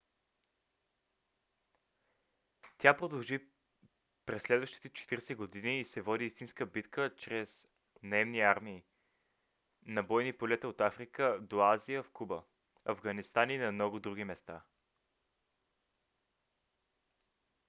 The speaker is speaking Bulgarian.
тя продължи през следващите 40 години и се води истинска битка чрез наемни армии на бойни полета от африка до азия в куба афганистан и на много други места